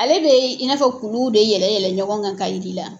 Ale bɛ i n'a fɔ kuluw de yɛlɛ yɛlɛ ɲɔgɔn kan k'a yir'i la.